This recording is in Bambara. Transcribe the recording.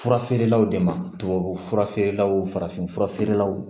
Fura feerelaw de ma tubabufura feerelaw farafin fura feerelaw